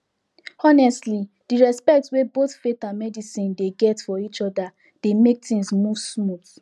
honestly di respect wey both faith and medicine dey get for each other dey mek things move smooth